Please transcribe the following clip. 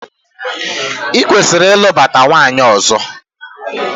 Ị kwesịrị ịlụbata nwaanyị ọzọ!